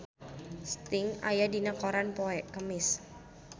Sting aya dina koran poe Kemis